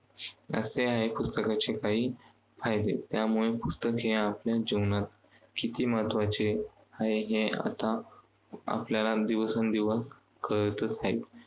असे आहे पुस्तकाचे काही फायदे. त्यामुळे पुस्तक हे आपल्या जीवनात किती महत्त्वाचे आहे हे आता आपल्याला दिवसेंदिवस कळतच आहे.